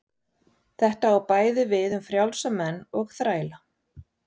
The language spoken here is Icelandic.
Þetta á bæði við um frjálsa menn og þræla.